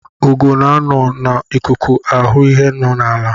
Ugo na-anọ n'ikuku hụ ihe nọ n'ala.